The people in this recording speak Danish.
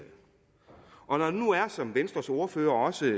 og når der nu er som venstres ordfører også